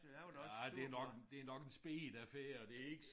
Ja det nok det nok en speget affære det ikke